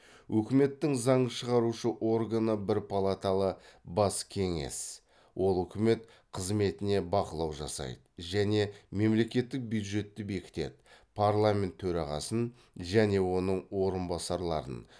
өкіметтің заң шығарушы органы бір палаталы бас кеңес ол үкімет қызметіне бақылау жасайды және мемлекттік бюджетті бекітеді парламент төрағасын және оның орынбасарларын